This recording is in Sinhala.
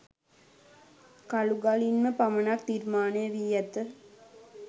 කළු ගලින්ම පමණක් නිර්මාණය වී ඇති